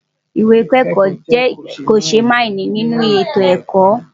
Ìwé ìkẹ́kọ̀ọ́ jẹ́ kòṣémààní nínú ètò ẹ̀kọ́.